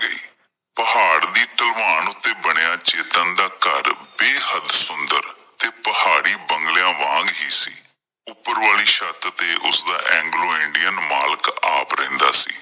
ਪਹਾੜ ਦੀ ਢਲਾਨ ਉੱਤੇ ਬਣਿਆ ਚੇਤਨ ਦਾ ਘਰ ਬੇਹੱਦ ਸੁੰਦਰ ਤੇ ਪਹਾੜੀ ਬੰਗਲਿਆਂ ਵਾਂਗ ਹੀ ਸੀ। ਉੱਪਰ ਵਾਲੀ ਛੱਤ ਤੇ ਓਸਦਾ ਐਗਲੋ ਇੰਡੀਅਨ ਮਾਲਿਕ ਆਪ ਰਹਿੰਦਾ ਸੀ।